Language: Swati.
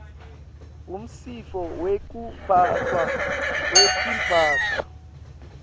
umtsetfo wekuphatfwa kwetimphahla